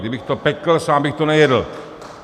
Kdybych to pekl, sám bych to nejedl.